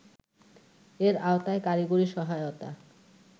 এর আওতায় কারিগরী সহায়তা